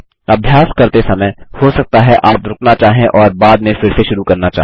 अभ्यास करते समय हो सकता है आप रुकना चाहें और बाद में फिर से शुरू करना चाहें